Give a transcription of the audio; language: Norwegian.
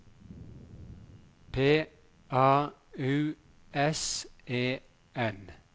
P A U S E N